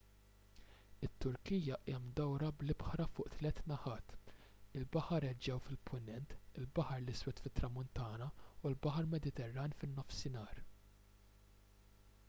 it-turkija hija mdawra bl-ibħra fuq tliet naħat il-baħar eġew fil-punent il-baħar l-iswed fit-tramuntana u l-baħar mediterran fin-nofsinhar